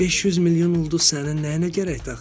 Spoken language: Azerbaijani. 500 milyon ulduz sənin nəyinə gərəkdir axı?